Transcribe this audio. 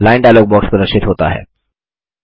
line dialog box प्रदर्शित होता है